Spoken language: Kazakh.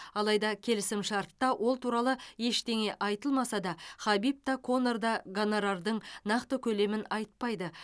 алайда келісімшартта ол туралы ештеңе айтылмаса да хабиб та конор да гонорардың нақты көлемін айтпайды